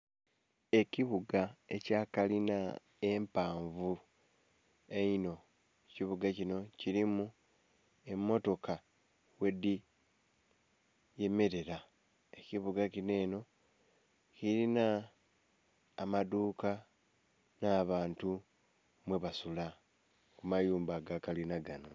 Ekibuga ekya kalina empanvu einho, ekibuga kinho kilimu emotoka ghe dhiyemerera, ekibuga kinho enho kilinha amadhuka nha bantu ghe basula amayumba aga kalina ganho.